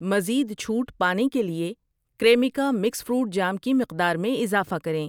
مزید چھوٹ پانے کے لیے کریمیکا مکس فروٹ جام کی مقدار میں اضافہ کریں